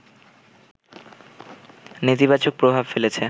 নেতিবাচক প্রভাব ফেলেছে